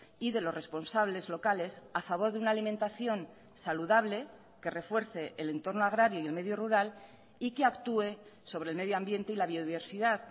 y de los responsables locales a favor de una alimentación saludable que refuerce el entorno agrario y el medio rural y que actúe sobre el medio ambiente y la biodiversidad